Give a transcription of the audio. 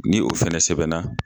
Ni o fɛnɛ sɛbɛnna